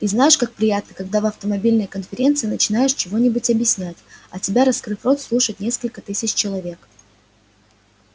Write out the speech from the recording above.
и знаешь как приятно когда в автомобильной конференции начинаешь чего-нибудь объяснять а тебя раскрыв рот слушает несколько тысяч человек